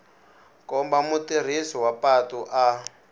komba mutirhisi wa patu a